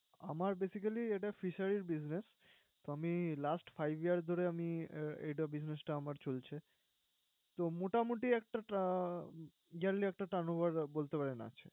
আমার basically এটা fisheries business । তো আমি last five years ধরে আমি এটা business টা আমার চলছে। তো মোটামুটি একটা turn~ yearly একটা trunover বলতে পারেন আছে।